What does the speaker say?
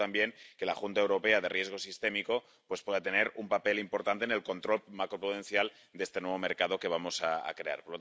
Y segundo, también, que la Junta Europea de Riesgo Sistémico pueda tener un papel importante en el control macroprudencial de este nuevo mercado que vamos a crear.